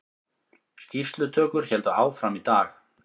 Skýrslutökur héldu áfram í dag